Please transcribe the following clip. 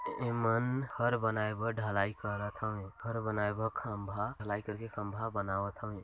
ऐ मन घर बनाइ व ढलाई करत हन घर बनाए व खम्भा ढलाई करके खम्भे बनावट हन।